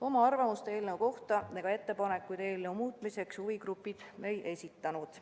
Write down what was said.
Oma arvamust eelnõu kohta ega ettepanekuid eelnõu muutmiseks huvigrupid ei esitanud.